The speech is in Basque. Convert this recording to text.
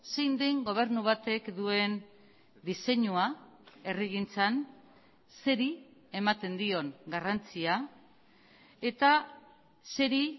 zein den gobernu batek duen diseinua herrigintzan zeri ematen dion garrantzia eta zeri